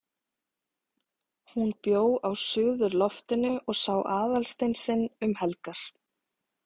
HÚN bjó á suðurloftinu og sá Aðalstein sinn um helgar.